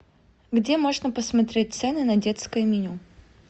где можно посмотреть цены на детское меню